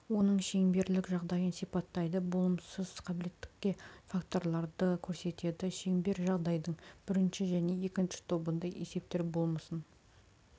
оның шеңберлік жағдайын ссипаттайды болмыссыз қабілеттілікке факторларды көрсетеді шеңберлік жағдайдың бірінші және екінші тобында есептер болмысын